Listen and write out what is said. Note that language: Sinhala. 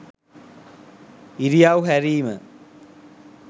ඉරියව් හැරීම